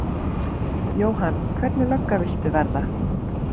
Jóhann: Hvernig lögga viltu verða?